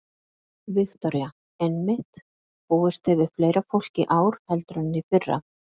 Viktoría: Einmitt, búist þið við fleira fólki í ár heldur en í fyrra?